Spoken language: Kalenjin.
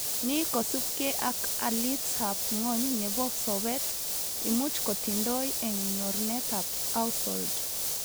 Ni kosubke ak alit ab ngwony nebo sobet imuch kotindoi eng nyorunetab household